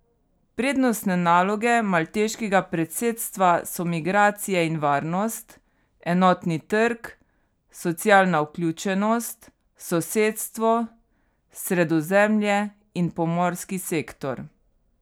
Prednostne naloge malteškega predsedstva so migracije in varnost, enotni trg, socialna vključenost, sosedstvo, Sredozemlje in pomorski sektor.